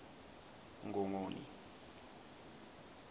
ngongoni